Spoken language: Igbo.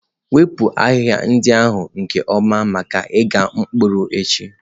Wepụ ahịhịa ndị ahụ nke ọma maka ịgha mkpụrụ echi.